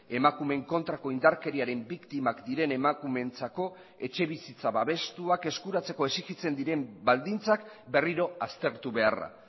emakumeen kontrako indarkeriaren biktimak diren emakumeentzako etxebizitza babestuak eskuratzeko exijitzen diren baldintzak berriro aztertu beharra